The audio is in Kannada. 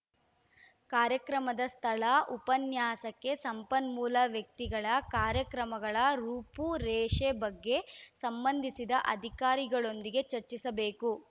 ಕಾರ್ಯಕ್ರಮದ ಸ್ಥಳ ಉಪನ್ಯಾಸಕ್ಕೆ ಸಂಪನ್ಮೂಲ ವ್ಯಕ್ತಿಗಳ ಕಾರ್ಯಕ್ರಮಗಳ ರೂಪುರೇಷೆ ಬಗ್ಗೆ ಸಂಬಂಧಿಸಿದ ಅಧಿಕಾರಿಗಳೊಂದಿಗೆ ಚರ್ಚಿಸಬೇಕು